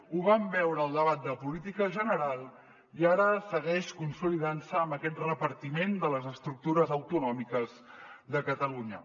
ho vam veure al debat de política general i ara segueix consolidant se amb aquest repartiment de les estructures autonòmiques de catalunya